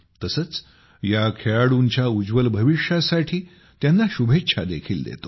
तसेच या खेळाडूंच्या उज्ज्वल भविष्यासाठी त्यांना शुभेच्छा देखील देतो